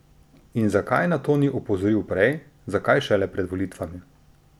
In zakaj na to ni opozoril prej, zakaj šele pred volitvami?